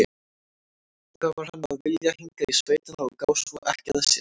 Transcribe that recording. Hvað var hann að vilja hingað í sveitina og gá svo ekki að sér?